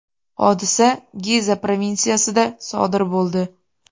Hodisa Giza provinsiyasida sodir bo‘ldi.